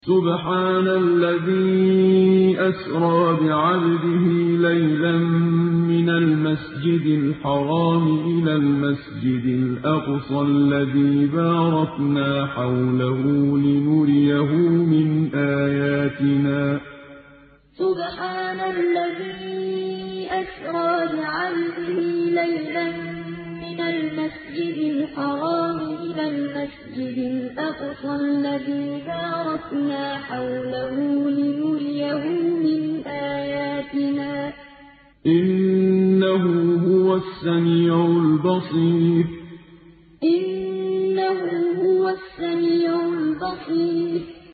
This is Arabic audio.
سُبْحَانَ الَّذِي أَسْرَىٰ بِعَبْدِهِ لَيْلًا مِّنَ الْمَسْجِدِ الْحَرَامِ إِلَى الْمَسْجِدِ الْأَقْصَى الَّذِي بَارَكْنَا حَوْلَهُ لِنُرِيَهُ مِنْ آيَاتِنَا ۚ إِنَّهُ هُوَ السَّمِيعُ الْبَصِيرُ سُبْحَانَ الَّذِي أَسْرَىٰ بِعَبْدِهِ لَيْلًا مِّنَ الْمَسْجِدِ الْحَرَامِ إِلَى الْمَسْجِدِ الْأَقْصَى الَّذِي بَارَكْنَا حَوْلَهُ لِنُرِيَهُ مِنْ آيَاتِنَا ۚ إِنَّهُ هُوَ السَّمِيعُ الْبَصِيرُ